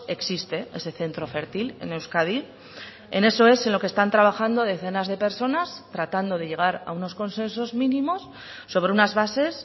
existe ese centro fértil en euskadi en eso es en lo que están trabajando decenas de personas tratando de llegar a unos consensos mínimos sobre unas bases